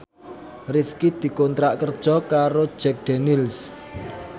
Rifqi dikontrak kerja karo Jack Daniels